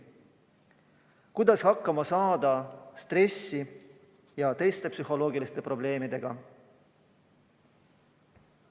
Kuidas hakkama saada stressi ja teiste psühholoogiliste probleemidega?